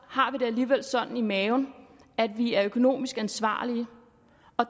har vi det alligevel sådan i maven at vi er økonomisk ansvarlige